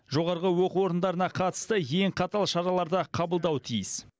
жоғарғы оқу орындарына қатысты ең қатал шараларды қабылдауы тиіс